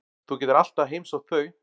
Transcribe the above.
Þú getur alltaf heimsótt þau.